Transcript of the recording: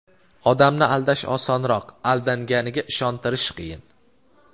Odamni aldash osonroq, aldanganiga ishontirish qiyin.